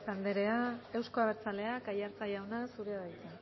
anderea euzko abertzaleak aiartza jauna zurea da hitza